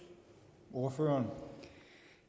og